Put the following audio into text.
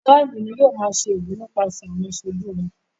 Àwọn ara ìlú ní yóò máa ṣe ìlú nípaṣẹ̀ àwọn aṣojú wọn.